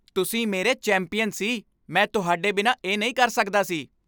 ਤੁਸੀਂ ਮੇਰੇ ਚੈਂਪੀਅਨ ਸੀ! ਮੈਂ ਤੁਹਾਡੇ ਬਿਨਾਂ ਇਹ ਨਹੀਂ ਕਰ ਸਕਦਾ ਸੀ।